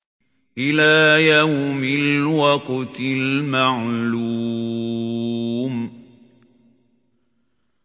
إِلَىٰ يَوْمِ الْوَقْتِ الْمَعْلُومِ